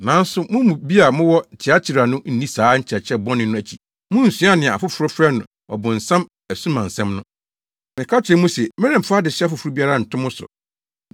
Nanso mo mu bi a mowɔ Tiatira no nni saa nkyerɛkyerɛ bɔne no akyi. Munsuaa nea afoforo frɛ no, ‘Ɔbonsam asumansɛm’ no. Meka kyerɛ mo se, meremfa adesoa foforo biara nto mo so.